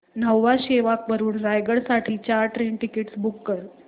न्हावा शेवा वरून रायगड साठी चार ट्रेन टिकीट्स बुक कर